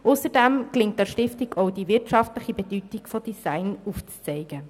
Ausserdem gelingt es der Stiftung auch, die wirtschaftliche Bedeutung des Designs aufzuzeigen.